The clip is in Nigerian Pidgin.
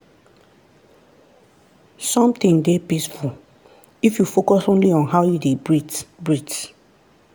something dey peaceful if you focus only on how you dey breathe. breathe.